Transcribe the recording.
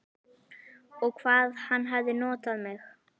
Og hvað hann hafði notað mig.